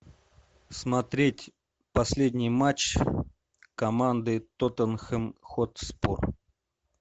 смотреть последний матч команды тоттенхэм хотспур